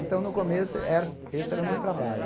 Então, no começo, era esse era o meu trabalho.